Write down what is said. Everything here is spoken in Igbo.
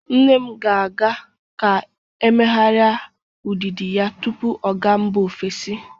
Nne m ga-aga ka emeghari udịdị ya tupu ọ ga mba ofesi.